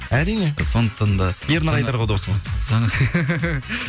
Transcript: әрине сондықтан да ернар айдар ғой досыңыз